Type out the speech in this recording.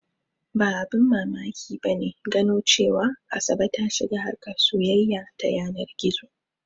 Ba abin mamaki ba ne gano cewa Asabe ta shiga harkar soyayya ta yanar gizo.